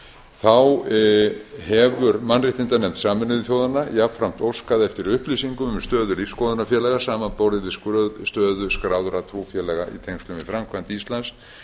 þá hefur mannréttindanefnd sameinuðu þjóðanna jafnframt óskað eftir upplýsingum um stöðu lífsskoðunarfélaga samanborið við stöðu skráðra trúfélaga í tengslum við framkvæmd íslands